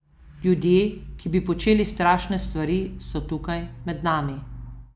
Ljudje, ki bi počeli strašne stvari, so tukaj, med nami.